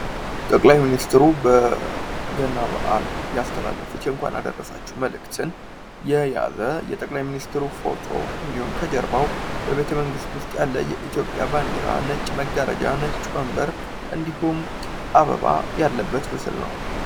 ጠቅላይ ሚኒስትሩ በገና በአል ያስተላለፉት የእንኳን አደረሳችሁ መልእክትን የያዘ የጠቅላይ ሚኒስትሩ ፎቶ እንድሁም ከጀርባው በቤተመንግስት ውስጥ ያለ የኢትዮጵያ ባንድራ ነጭ መጋረጃ ነጭ ወንበር እንድሁም አበባ ያለበት ምስል ነው።